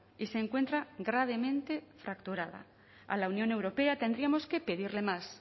y se encuentra gravemente fracturada a la unión europea tendríamos que pedirle más